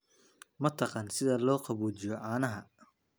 Ma taqaan sida loo qaboojiyo caanaha?